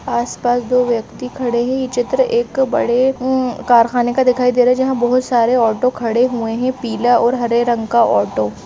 आस पास दो व्यक्ति खड़े हैं। यह चित्र एक बड़े कारखाने का दिखाई दे रहा हैं जहां बहुत सारे ऑटो खड़े हुए हैं। पीला और हरे रंग का ऑटो --